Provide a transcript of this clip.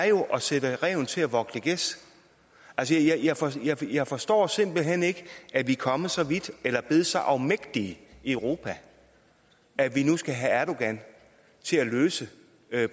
jo er at sætte ræven til at vogte gæs altså jeg forstår jeg forstår simpelt hen ikke at vi er kommet så vidt eller er blevet så afmægtige i europa at vi nu skal have erdogan til at løse